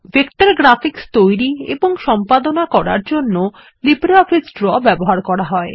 vector graphics তৈরি এবং সম্পাদনা করার জন্য লিব্রিঅফিস ড্র ব্যবহার করা হয়